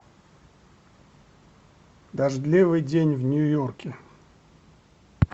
дождливый день в нью йорке